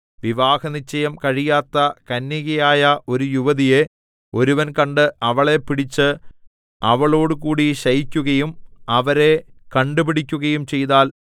വിവാഹനിശ്ചയം കഴിയാത്ത കന്യകയായ ഒരു യുവതിയെ ഒരുവൻ കണ്ട് അവളെ പിടിച്ച് അവളോടുകൂടി ശയിക്കുകയും അവരെ കണ്ടുപിടിക്കുകയും ചെയ്താൽ